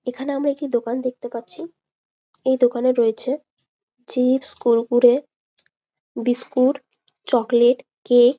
এইখানে আমরা একটি দোকান দেখতে পাচ্ছি এই দোকানে রয়েছে chips Kurkure chocolate biscuit cake.